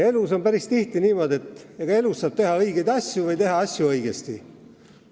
Elus on päris tihti niimoodi, et saab teha õigeid asju ja saab teha asju õigesti.